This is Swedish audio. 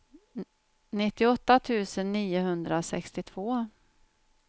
nittioåtta tusen niohundrasextiotvå